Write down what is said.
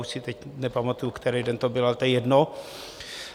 Už si teď nepamatuji, který den to bylo, ale to je jedno.